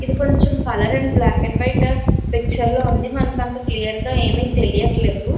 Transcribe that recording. ఇది కొంచం colour and black and white picture ల ఉంది మనకి అంత క్లియర్ గ ఏమి తెలియట్లేదు .